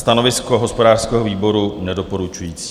Stanovisko hospodářského výboru - nedoporučující.